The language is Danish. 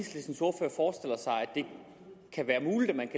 det kan være muligt at man